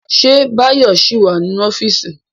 Ṣé Báyọ̀ ṣì wà nínú ọ́fíìsì?